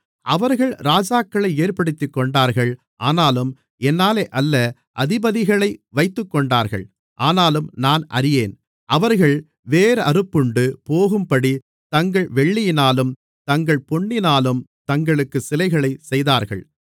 அவர்கள் ராஜாக்களை ஏற்படுத்திக்கொண்டார்கள் ஆனாலும் என்னாலே அல்ல அதிபதிகளை வைத்துக்கொண்டார்கள் ஆனாலும் நான் அறியேன் அவர்கள் வேரறுப்புண்டு போகும்படித் தங்கள் வெள்ளியினாலும் தங்கள் பொன்னினாலும் தங்களுக்கு சிலைகளைச் செய்தார்கள்